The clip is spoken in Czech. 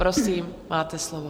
Prosím, máte slovo.